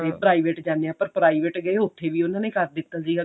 ਤੇ private ਜਾਨੇ ਆਂ ਪਰ private ਗਏ ਉੱਥੇ ਵੀ ਉਹਨਾਂ ਨੇ ਕਰ ਦਿੱਤਾ ਸੀਗਾ